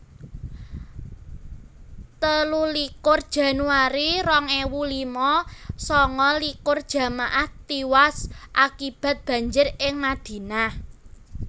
telulikur januari rong ewu lima sanga likur jamaah tiwas akibat banjir ing Madinah